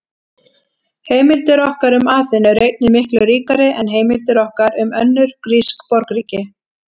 Heimildir okkar um Aþenu eru einnig miklu ríkari en heimildir okkar um önnur grísk borgríki.